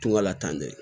Tunga latande